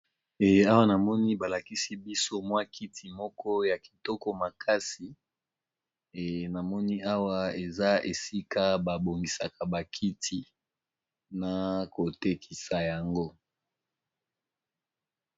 e awa namoni balakisi biso mwa kiti moko ya kitoko makasi e namoni awa eza esika babongisaka bakiti na kotekisa yango